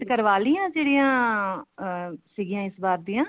ਕਰਵਾਲੀਆਂ ਜਿਹੜੀਆਂ ਸੀਗੀਆਂ ਇਸ ਵਾਰ ਦੀਆਂ